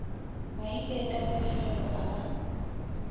maite ka pefelo a ba